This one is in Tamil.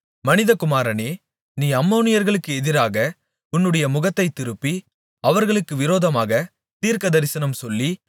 மனிதகுமாரனே நீ அம்மோனியர்களுக்கு எதிராக உன்னுடைய முகத்தைத் திருப்பி அவர்களுக்கு விரோதமாகத் தீர்க்கதரிசனம் சொல்லி